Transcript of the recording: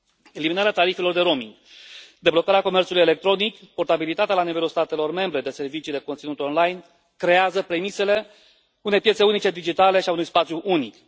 Eliminarea tarifelor de roaming, deblocarea comerțului electronic, portabilitatea la nivelul statelor membre de servicii de conținut online creează premisele unei piețe unice digitale și a unui spațiu unic.